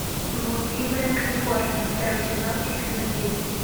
блудливая калифорния второй сезон эпизод девять